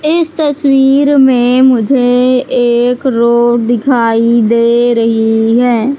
इस तस्वीर में मुझे एक रोड दिखाई दे रही है।